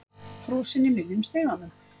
Frosinn í miðjum stiganum.